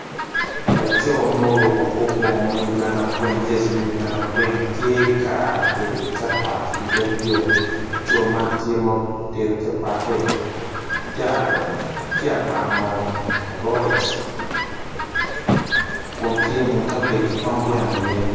Laco mruku kor bongo me uganda kurain tye ka tedo capat i dog yo laco man tye ma otedo capatte tye abano lorec kun tye wa ki kabec ki tonggweno iye